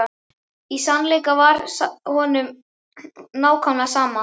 Í sannleika sagt var honum nákvæmlega sama.